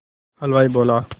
हलवाई बोला